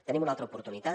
tenim una altra oportunitat